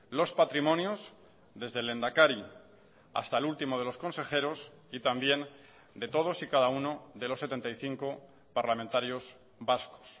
los patrimonios desde el lehendakari hasta el último de los consejeros y también de todos y cada uno de los setenta y cinco parlamentarios vascos